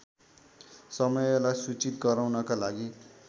समयलाई सूचित गराउनका लागि